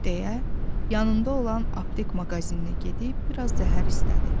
deyə, yanında olan aptek maqazinə gedib bir az zəhər istədi.